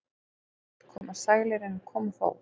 Seint koma sælir en koma þó.